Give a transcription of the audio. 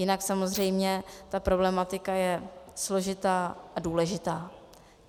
Jinak samozřejmě ta problematika je složitá a důležitá.